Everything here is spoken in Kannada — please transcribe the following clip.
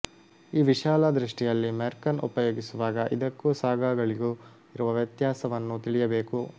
ಈ ವಿಶಾಲ ದೃಷ್ಟಿಯಲ್ಲಿ ಮೆರ್ಖನ್ ಉಪಯೋಗಿಸುವಾಗ ಇದಕ್ಕೂ ಸಾಗಾಗಳಿಗೂ ಇರುವ ವ್ಯತ್ಯಾಸವನ್ನು ತಿಳಿಯಬೇಕು